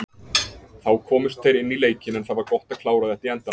Þá komust þeir inn í leikinn, en það var gott að klára þetta í endann.